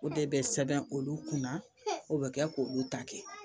O de bɛ sɛbɛn olu kunna o bɛ kɛ k'olu ta kɛ